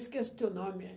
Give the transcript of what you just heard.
Esqueço o teu nome. Eh...